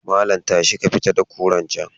Malam tashi ka fita da kurar can.